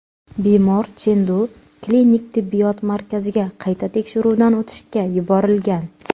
Bemor Chendu klinik tibbiyot markaziga qayta tekshiruvdan o‘tishga yuborilgan.